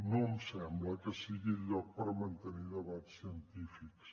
no em sembla que sigui el lloc per mantenir debats científics